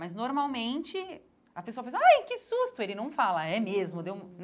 Mas, normalmente, a pessoa pensa, ai, que susto, ele não fala, é mesmo, deu.